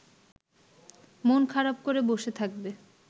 মন খারাপ করে বসে থাকবে